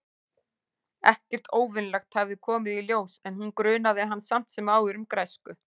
Ekkert óvenjulegt hafði komið í ljós- en hún grunaði hann samt sem áður um græsku.